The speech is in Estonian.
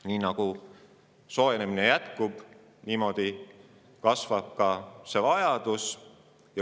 Nii nagu jätkub soojenemine, kasvab ka siseruumide jahutamise vajadus.